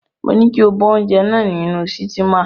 Mo ní kí o bọ oúnjẹ náà nínú sítímà.